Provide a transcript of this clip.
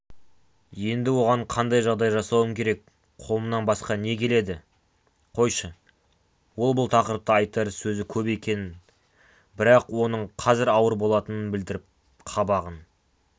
еңді оған қандай жағдай жасауым керек қолымнан басқа не келеді қойшы ол бұл тақырыпта айтар сөзі көп екенін бірақ оның қазір ауыр болатынын білдіріп қабағын